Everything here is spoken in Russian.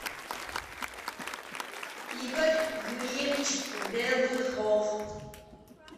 игорь юрьевич белыхов